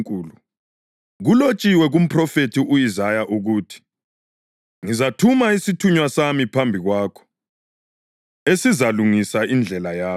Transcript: Kulotshiwe kumphrofethi u-Isaya ukuthi: “Ngizathuma isithunywa sami phambi kwakho, esizalungisa indlela yakho” + 1.2 UMalaki 3.1: